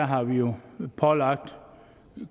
har vi jo pålagt